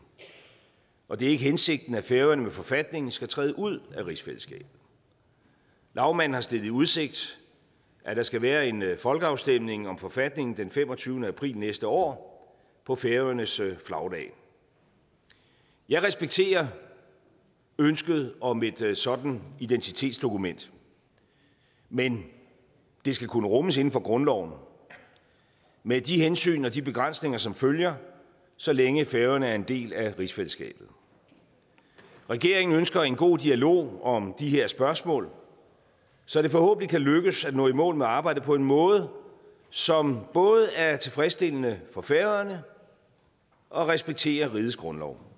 og det er ikke hensigten at færøerne med forfatningen skal træde ud af rigsfællesskabet lagmanden har stillet i udsigt at der skal være en folkeafstemning om forfatningen den femogtyvende april næste år på færøernes flagdag jeg respekterer ønsket om et et sådant identitetsdokument men det skal kunne rummes inden for grundloven med de hensyn og de begrænsninger som følger så længe færøerne er en del af rigsfællesskabet regeringen ønsker en god dialog om de her spørgsmål så det forhåbentlig kan lykkes at nå i mål med arbejdet på en måde som både er tilfredsstillende for færøerne og respekterer rigets grundlov